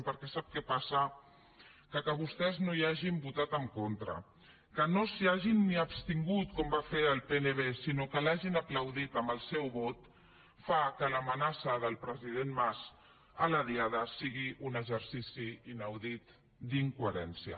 perquè sap què passa que vostès no hi hagin votat en contra que no s’hi hagin ni abstingut com va fer el pnb sinó que l’hagin aplaudit amb el seu vot fa que l’amenaça del president mas a la diada sigui un exercici inaudit d’incoherència